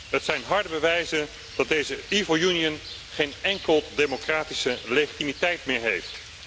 Het zijn harde bewijzen dat deze evil Union geen enkele democratische legitimiteit meer heeft.